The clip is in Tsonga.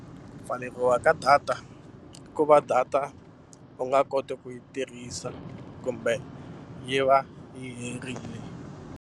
Ku pfaleriwa ka data i ku va data u nga koti ku yi tirhisa kumbe yi va yi herile.